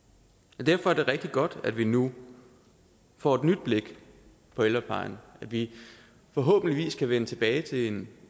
derfor er det rigtig godt at vi nu får et nyt blik på ældreplejen at vi forhåbentlig kan vende tilbage til en